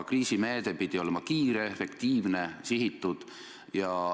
Kriisimeede pidi olema kiire, efektiivne, sihitud.